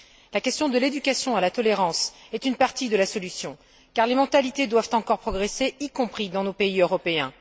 La question de l'éducation à la tolérance est une partie de la solution car les mentalités doivent encore progresser, y compris dans nos pays européens.